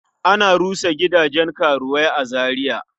Ana rushe gidajen karuwai a Zariya.